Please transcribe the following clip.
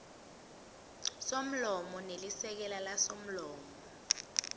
somlomo nelisekela lasomlomo